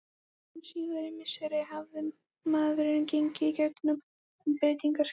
Hin síðari misseri hafði maðurinn gengið í gegn um breytingaskeið.